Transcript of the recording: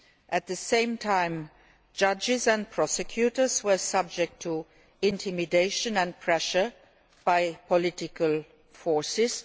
At the same time, judges and prosecutors were subject to intimidation and pressure by political forces.